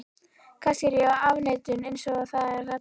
Kannski er ég í afneitun, einsog það er kallað.